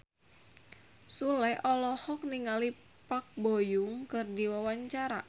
Sule olohok ningali Park Bo Yung keur diwawancara